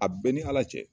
A bɛɛ ni ala cɛ